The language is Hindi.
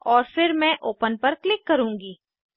और फिर मैं ओपन ओपन पर क्लिक करूँगी